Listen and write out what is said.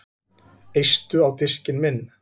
Eistu á diskinn minn